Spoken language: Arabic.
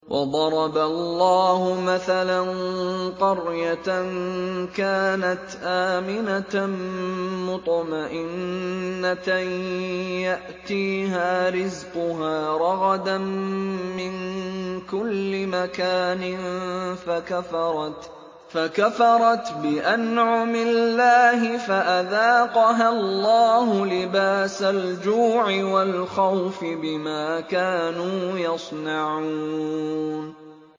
وَضَرَبَ اللَّهُ مَثَلًا قَرْيَةً كَانَتْ آمِنَةً مُّطْمَئِنَّةً يَأْتِيهَا رِزْقُهَا رَغَدًا مِّن كُلِّ مَكَانٍ فَكَفَرَتْ بِأَنْعُمِ اللَّهِ فَأَذَاقَهَا اللَّهُ لِبَاسَ الْجُوعِ وَالْخَوْفِ بِمَا كَانُوا يَصْنَعُونَ